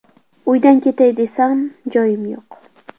Uydan ketay desam, joyim yo‘q.